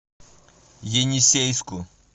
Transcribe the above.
енисейску